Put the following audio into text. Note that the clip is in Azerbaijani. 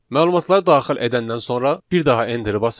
Məlumatları daxil edəndən sonra bir daha enterə basırıq.